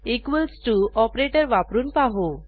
equals to operator वापरून पाहू